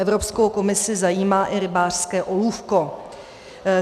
Evropskou komisi zajímá i rybářské olůvko.